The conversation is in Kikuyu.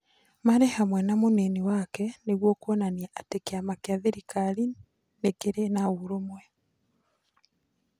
Marĩ hamwe na mũnini wake ,nĩguo kuonania atĩ kĩama kĩa thirikari nĩ kĩrĩ na ũrũmwe.